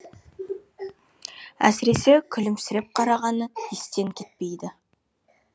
әсіресе күлімсіреп қарағаны естен кетпейді